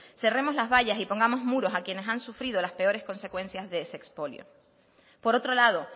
cerremos las vallas y pongamos muros a quienes han sufrido las peores consecuencias de ese expolio por otro lado